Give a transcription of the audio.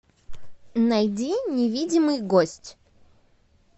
найди невидимый гость